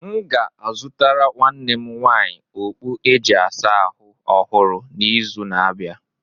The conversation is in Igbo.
M ga-azụtara nwanne m nwaanyị okpu e ji asa ahụ ọhụrụ n'izu n'abịa.